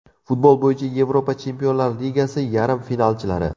Futbol bo‘yicha Yevropa Chempionlar Ligasi yarim finalchilari.